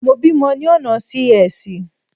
Mo bímọ ni ọ̀nà Sí-Ẹsì.